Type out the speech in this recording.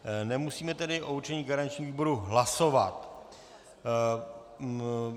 Nemusíme tedy o určení garančního výboru hlasovat.